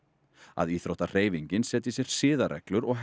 að íþróttahreyfingin setji sér siðareglur og